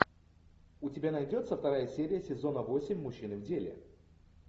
у тебя найдется вторая серия сезона восемь мужчины в деле